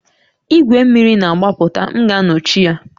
Igwe mmiri na-agbapụta, m ga-anọchi ya